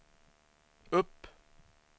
upp